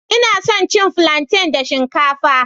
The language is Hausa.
Ina son cin plantain da shinkafa